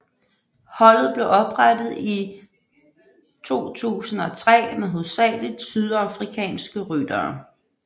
Holdet blev oprettet i 2003 med hovedsageligt sydafrikanske ryttere